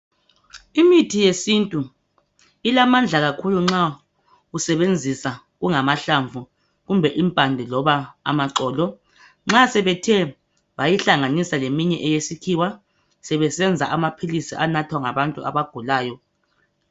Imithi yesintu ilamandla kakhulu nxa usebenzisa kungamahlamvu kumbe impande loba amaxolo, nxa sebethe bayihlanganisa leminye yesikhiwa sebesenza amaphilisi anathwa ngabantu abagulayo.